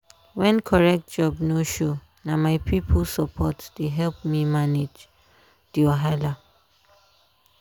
when correct job no show na my people support dey help me manage the wahala.